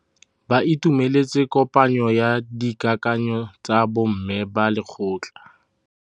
Ba itumeletse kôpanyo ya dikakanyô tsa bo mme ba lekgotla.